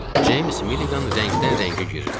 James Milligan rəngdən-rəngə girirdi.